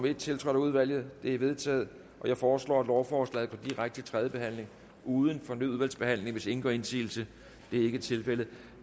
en tiltrådt af udvalget det er vedtaget jeg foreslår at lovforslaget går direkte til tredje behandling uden fornyet udvalgsbehandling hvis ingen gør indsigelse det er ikke tilfældet